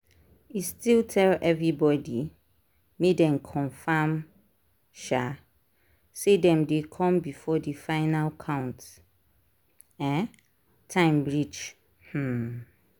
e still tell everybody make dem confirm um say dem dey come before the final count um time reach um